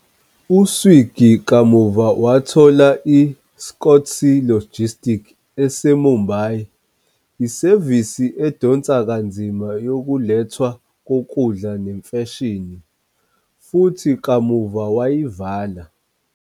U-Swiggy kamuva wathola i- "Scootsy Logistics ese" -Mumbai, isevisi edonsa kanzima yokulethwa kokudla nemfashini, futhi kamuva wayivala.